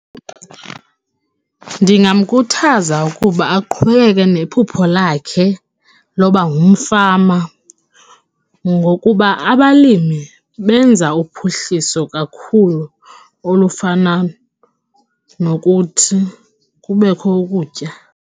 Ndingamkhuthaza ukuba aqhubeke nephupho lakhe loba ngumfama ngokuba abalimi benza uphuhliso kakhulu olufana nokuthi kubekho ukutya.